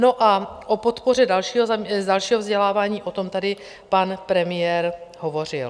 No a o podpoře dalšího vzdělávání, o tom tady pan premiér hovořil.